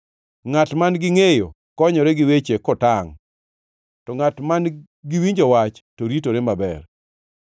Ngʼat man-gi ngʼeyo konyore gi weche kotangʼ; to ngʼat man-gi winjo wach to ritore maber.